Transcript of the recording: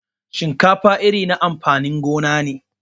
Shinkafa iri na amfanin gona ne.